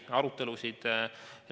Oli arutelusid.